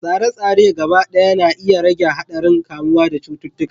Tsare-tsare gaba ɗaya na iya rage haɗarin kamuwa da cututtuka